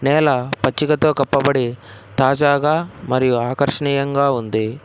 నేల పచ్చిగతో కప్పబడి తాజాగా మరియు ఆకర్షణీయంగా ఉంది.